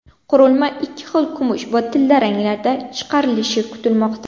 Qurilma ikki xil kumush va tilla ranglarda chiqarilishi kutilmoqda.